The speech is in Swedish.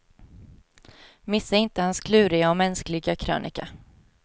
Missa inte hans kluriga och mänskliga krönika.